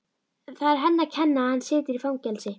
Það er henni að kenna að hann situr í fangelsi.